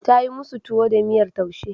Ta yi musu tuwo da miyar taushe.